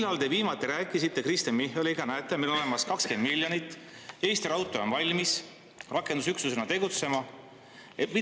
Millal te viimati rääkisite Kristen Michaliga: "Näete, meil on olemas 20 miljonit, Eesti Raudtee on valmis rakendusüksusena tegutsema."?